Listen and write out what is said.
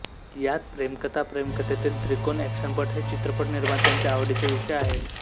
यात प्रेमकथा प्रेमकथेतील त्रिकोण ऍक्शनपट हे चित्रपट निर्मात्यांचे आवडीचे विषय आहे